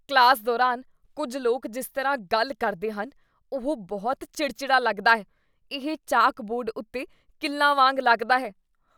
Class ਦੌਰਾਨ ਕੁੱਝ ਲੋਕ ਜਿਸ ਤਰ੍ਹਾਂ ਗੱਲ ਕਰਦੇ ਹਨ ਉਹ ਬਹੁਤ ਚਿੜਚਿੜਾ ਲੱਗਦਾ ਹੈ, ਇਹ ਚਾਕ ਬੋਰਡ ਉੱਤੇ ਕਿੱਲਾਂ ਵਾਂਗ ਲੱਗਦਾ ਹੈ।